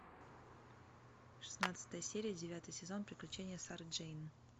шестнадцатая серия девятый сезон приключения сары джейн